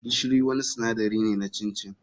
Gishiri wani sinadari ne na chin chin.